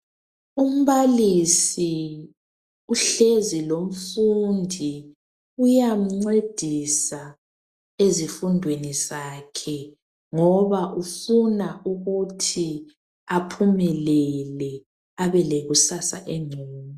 Umbalisi uhlezi lomfundi uyamncedisa ezifundweni zakhe ngoba ufuna ukuthi aphumelele abe lekusasa engcono